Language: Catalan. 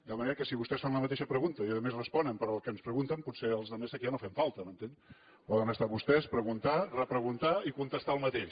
de manera que si vostès fan la mateixa pregunta i a més responen pel que ens pregunten potser els altres aquí ja no fem falta m’entén poden estar vostès preguntar repreguntar i contestar el mateix